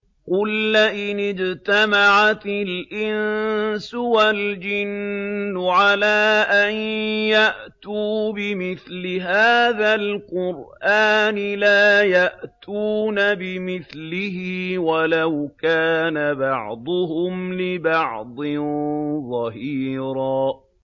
قُل لَّئِنِ اجْتَمَعَتِ الْإِنسُ وَالْجِنُّ عَلَىٰ أَن يَأْتُوا بِمِثْلِ هَٰذَا الْقُرْآنِ لَا يَأْتُونَ بِمِثْلِهِ وَلَوْ كَانَ بَعْضُهُمْ لِبَعْضٍ ظَهِيرًا